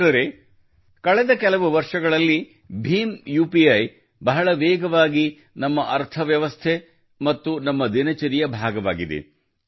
ಮಿತ್ರರೇ ಕಳೆದ ಕೆಲವು ವರ್ಷಗಳಲ್ಲಿ ಭೀಮ್ UPIಭೀಮ್ ಯುಪಿಐ ಬಹಳ ವೇಗವಾಗಿ ನಮ್ಮ ಅರ್ಥವ್ಯವಸ್ಥೆ ಮತ್ತು ನಮ್ಮ ದಿನಚರಿಯ ಭಾಗವಾಗಿದೆ